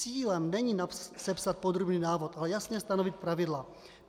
Cílem není sepsat podrobný návod, ale jasně stanovit pravidla.